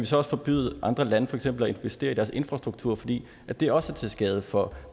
så også forbyde andre lande for eksempel at investere i deres infrastruktur fordi det også er til skade for